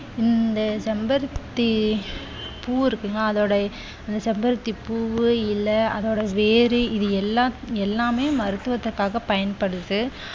இந்த செம்பருத்தி பூ இருக்கு இல்லையா அதோட இந்த செம்பருத்தி பூ, இலை, அதோட வேறு இது எல்லா~எல்லாமே மருத்துவத்திற்காக பயன்படுது.